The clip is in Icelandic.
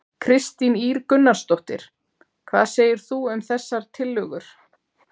Kristín Ýr Gunnarsdóttir: Hvað segir þú um þessar tillögur?